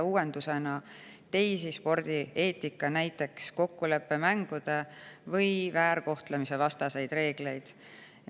Uuendusena tuleb järgida ka teisi spordieetikareegleid, näiteks kokkuleppemängude- ja väärkohtlemisevastaseid reegleid.